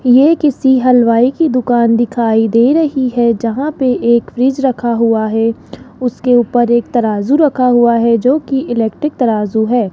ये किसी हलवाई की दुकान दिखाई दे रही है जहां पे एक फ्रिज रखा हुआ है उसके ऊपर एक तराजू रखा हुआ है जो की इलेक्ट्रिक तराजू है।